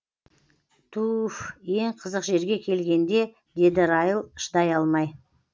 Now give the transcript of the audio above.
туууфф ең қызық жерге келгенде деді райл шыдай алмай